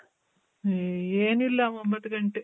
ಏ ಏನಿಲ್ಲ ಒಂಬತ್ ಗಂಟೆ.